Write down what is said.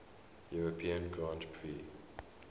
european grand prix